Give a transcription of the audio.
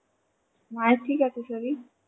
মায়ের ঠিক আছে শরীর?